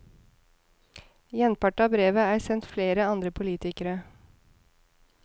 Gjenpart av brevet er sendt flere andre politikere.